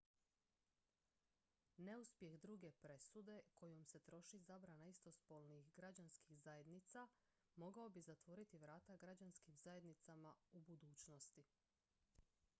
neuspjeh druge presude kojom se traži zabrana istospolnih građanskih zajednica mogao bi otvoriti vrata građanskim zajednicama u budućnosti